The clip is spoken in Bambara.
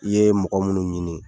I ye mɔgɔ minnu ɲini